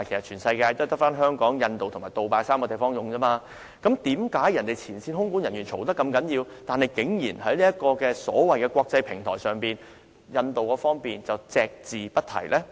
全世界只有香港、印度及杜拜3個地方使用"雷神 AT3" 系統，為何前線空管人員投訴不絕，但在所謂的"國際平台"會議上，印度方面竟然隻字不提呢？